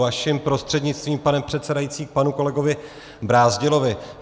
Vaším prostřednictvím, pane předsedající, k panu kolegu Brázdilovi.